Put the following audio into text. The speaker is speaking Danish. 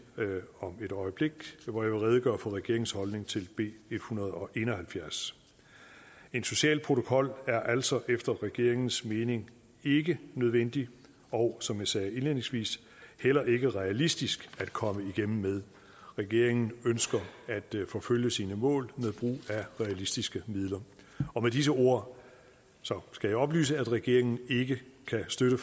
om et øjeblik hvor jeg vil redegøre for regeringens holdning til b en hundrede og en og halvfjerds en social protokol er altså efter regeringens mening ikke nødvendig og som jeg sagde indledningsvis heller ikke realistisk at komme igennem med regeringen ønsker at forfølge sine mål med brug af realistiske midler med disse ord skal jeg oplyse at regeringen ikke kan støtte